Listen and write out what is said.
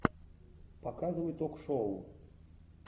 показывай ток шоу